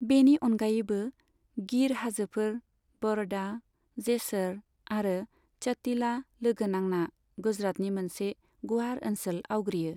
बेनि अनगायैबो, गिर हाजोफोर, बरदा, जेसर आरो चटिला लोगो नांना गुजरातनि मोनसे गुवार ओनसोल आवग्रियो।